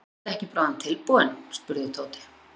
Ertu ekki bráðum tilbúinn? spurði Tóti.